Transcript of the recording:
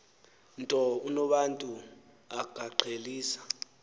nto unobantu akaqhelisa